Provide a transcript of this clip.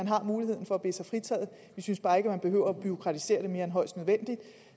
har muligheden for at bede sig fritaget vi synes bare ikke at man behøver at bureaukratisere det mere end højst nødvendigt